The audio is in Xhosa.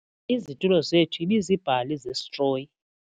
Izitulo zethu ibiziibhali zesitroyi.